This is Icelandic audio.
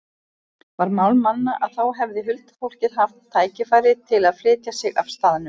Var mál manna að þá hefði huldufólkið haft tækifæri til að flytja sig af staðnum.